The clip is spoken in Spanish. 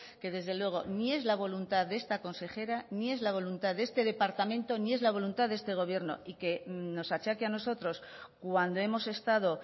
que desde luego ni es la voluntad de esta consejera ni es la voluntad de este departamento ni es la voluntad de este gobierno y que nos achaque a nosotros cuando hemos estado